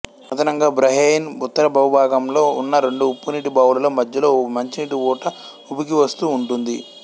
అదనంగా బహ్రయిన్ ఉత్తర భూభాగంలో ఉన్న రెండు ఉప్పునీటి బావులలో మద్యలో మంచినీటి ఊట ఉబికివస్తూ ఉంటుంది